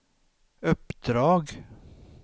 uppdrag